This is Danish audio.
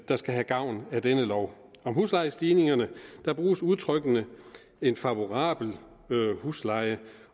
der skal have gavn af denne lov om huslejestigningerne bruges udtrykkene en favorabel husleje